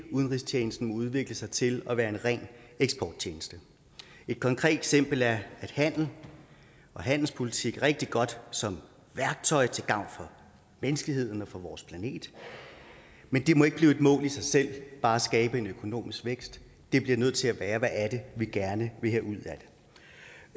udenrigstjenesten må udvikle sig til at være en ren eksporttjeneste et konkret eksempel er at handel og handelspolitik er rigtig godt som værktøj til gavn for menneskeheden og for vores planet men det må ikke blive et mål i sig selv bare at skabe en økonomisk vækst vi bliver nødt til at spørge hvad er det vi gerne vil have ud